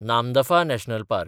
Namdapha national park